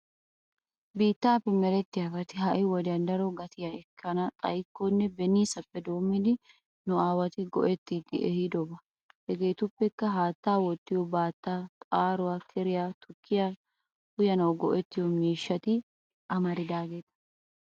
Bittappe merettiyabatti ha'i wodiya daro gattiya ekkana xayikkoonne benissappe doomiddi nu aawati go'ettidi ehidooba. Hegetuppekka haatta Woottiyo battaa, xaaruwa keeriyaa, tukkiya uyyanawu go'ettiyo miishshatti amaridaagetta.